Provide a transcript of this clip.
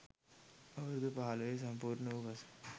අවුරුදු පහළොව සම්පූර්ණ වූ පසු